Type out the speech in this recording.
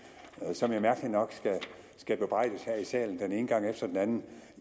som jeg mærkelig nok skal bebrejdes her i salen den ene gang efter den anden